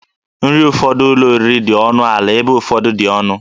Nri ụfọdụ ụlọ oriri dị ọnụ ala ebe ụfọdụ dị ọnụ